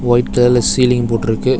White கலர்ல ceiling போட்டு இருக்கு.